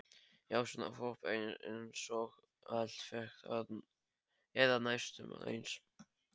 Já, svona hvolp einsog Alli fékk, eða næstum eins.